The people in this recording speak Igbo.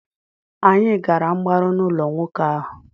Anyị gara mgbaru n'ụlọ nwoke ahụ.